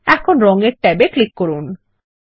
এখন রং এর ট্যাব এ ক্লিক করুন